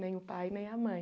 Nem o pai, nem a mãe.